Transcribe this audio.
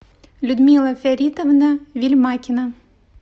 людмила фяритовна вельмакина